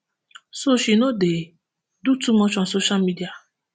so she no dey do too much on social media